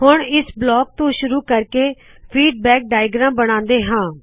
ਹੁੱਣ ਇਸ ਬਲਾਕ ਤੋ ਸ਼ੁਰੁ ਕਰਕੇ ਫੀਡਬੈਕ ਫੀਡਬੈਕ ਚਿੱਤਰ ਬਣਾਉਣੇ ਹਾ